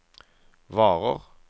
varer